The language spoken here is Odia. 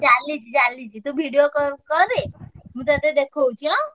ଚାଲିଚି ଚାଲିଚି ତୁ video call କରେ ମୁଁ ତତେ ଦେଖଉଛି ଆଁ।